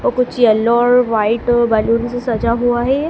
और कुछ येलो और व्हाइट बैलून से सजा हुआ है।